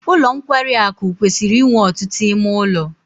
Ụlọ nkwarị akụ kwesịrị inwe ọtụtụ ime ụlọ.